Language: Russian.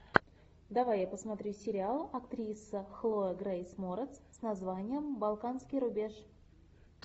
давай я посмотрю сериал актриса хлоя грейс морец с названием балканский рубеж